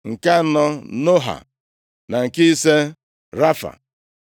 nke anọ Noha, na nke ise Rafa.